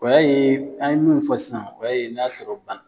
O y'a ye an ye minnu fɔ sisan o y'a n'a sɔrɔ bana